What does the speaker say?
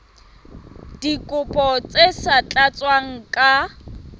dikopo tse sa tlatswang ka